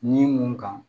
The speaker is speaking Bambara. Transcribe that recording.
Ni mun kan